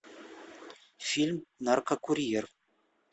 фильм наркокурьер